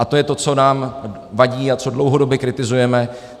A to je to, co nám vadí a co dlouhodobě kritizujeme.